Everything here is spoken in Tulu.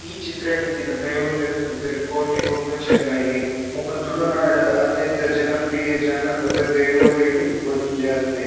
ಈ ಚಿತ್ರಡ್ ಇತ್ತಿನ ದೈವಲೆದ ಪುದರ್ ಕೋಟಿ ಬೊಕ ಚೆನ್ನಯ್ಯ ಮೊಕುಲು ತುಳುನಾಡ್ ದ ಅತ್ಯಂತ ಜನಪ್ರಿಯ ಜಾನಪದ ದೈವೊಲೆಡ್ ಒಂಜಾತೆರ್.